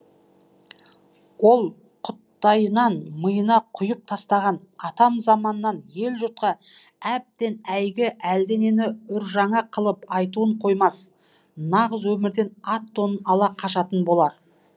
ол құйттайынан миына құйып тастаған атам заманнан ел жұртқа әбден әйгі әлденені үржаңа қылып айтуын қоймас нағыз өмірден ат тонын ала қашатын болар